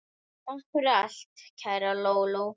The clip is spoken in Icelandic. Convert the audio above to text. Takk fyrir allt, kæra Lóló.